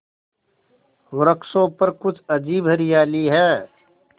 वृक्षों पर कुछ अजीब हरियाली है